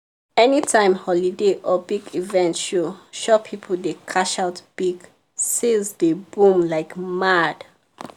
anytime holiday or big event show shop people dey cash out big — sales dey boom like mad.